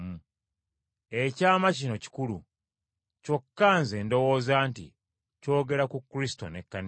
Ekyama kino kikulu, kyokka nze ndowooza nti kyogera ku Kristo n’Ekkanisa ye.